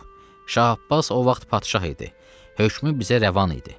Şah Abbas o vaxt padşah idi, hökmü bizə rəvan idi.